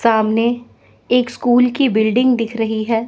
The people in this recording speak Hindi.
सामने एक स्कूल की बिल्डिंग दिख रही है।